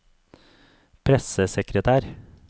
pressesekretær